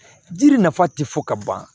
Jiri nafa ti fɔ ka ban